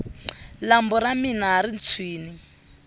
lambu ra mina ri tshwini